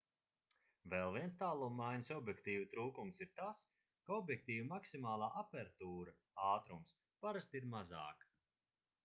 vēl viens tālummaiņas objektīvu trūkums ir tas ka objektīva maksimālā apertūra ātrums parasti ir mazāka